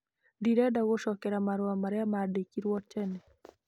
Ndĩrenda gũcokeria marũa marĩa mandĩkĩirũo tene.